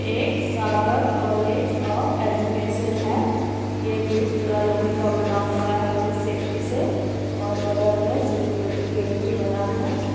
एक Sagar college of education है यह गेट पूरा लोहे का बना हुआ है बोहोत सेफ्टी से और बगल में सिक्योरिटी के लिए भी बना है ।